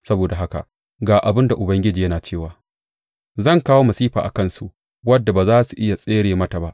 Saboda haka ga abin da Ubangiji yana cewa, Zan kawo masifa a kansu wadda ba za su iya tsere mata ba.